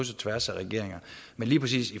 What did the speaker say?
slags